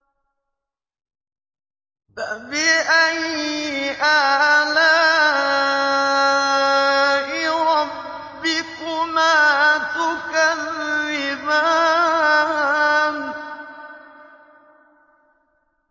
فَبِأَيِّ آلَاءِ رَبِّكُمَا تُكَذِّبَانِ